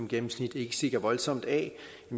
gennemsnitligt ikke stikker voldsomt af